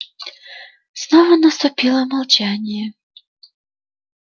снова наступило молчание